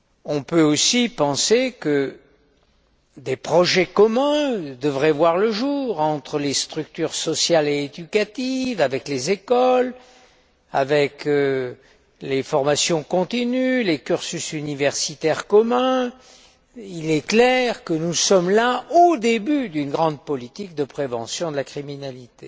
On peut aussi penser que des projets communs devraient voir le jour entre les structures sociales et éducatives, avec les écoles, avec les formations continues, les cursus universitaires communs. Il est clair que nous sommes au début d'une grande politique de prévention de la criminalité.